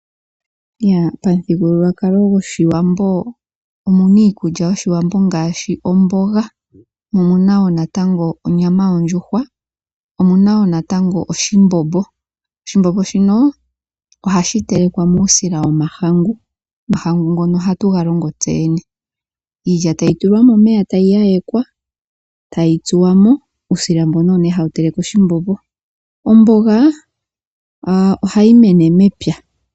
Pomuthigululwakalo goshiwambo omuna iikulya yoshiwambo ngaashi, omboga, omuna wo natango onyama yondjuhwa omuna wo natango oshimbombo. Oshimbombo shino ohashi telelekwa muusila womahangu. Omahangu ngono ohatu ga longo tseyene. Iilya tayi tulwa momeya tayi yayekwa tayi tsuwamo, uusila mbono owo nee hawa teleke oshimbombo. Omboga ohayi mene mepya.